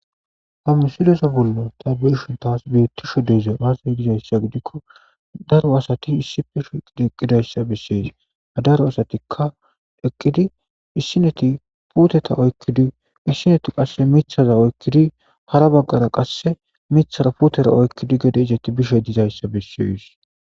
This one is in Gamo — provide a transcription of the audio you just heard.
ha misiloso bollo tabeyshun taas bettisho deeza aaza dizayssa gidikko daro asati issi fisho eqidi eqqidayssa bessees adaro asatikka eqqidi issineti puteta oykkidi issineti qasse mithaza oykkidi hara baggara qasse mithara putera oykkidi gede isetti bishe dizayssa bessees